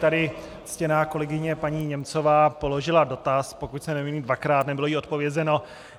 Tady ctěná kolegyně paní Němcová položila dotaz, pokud se nemýlím dvakrát, nebylo jí odpovězeno.